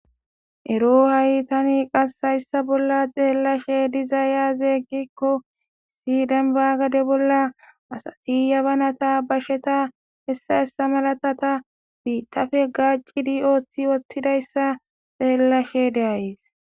Ero ha7i tani qassayssa bolla xeellashe dizayazeeggikko sidenbaagade bolla asati yabanata basheta hessa hessa malatata bi tafe gaacidi oothti wottidayssa xeellashe deays.